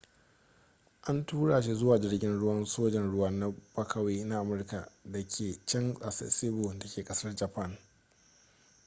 an tura shi zuwa jirgin ruwan sojan ruwa na bakawi na amurka da ke can a sasebo da ke kasar japan